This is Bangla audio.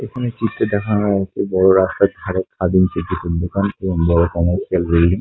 এখানে চিত্রে দেখানো আছে বড় রাসতার ধারে খাদিমসের কিছু দোকান এবং বড় কমলসের বিল্ডিং --